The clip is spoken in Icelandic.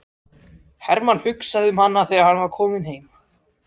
Hermann hugsaði um hana þegar hann var kominn heim.